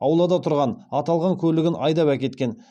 аулада тұрған аталған көлігін айдап әкеткен